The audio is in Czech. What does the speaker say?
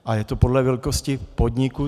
A je to podle velikosti podniku.